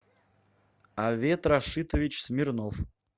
авет рашитович смирнов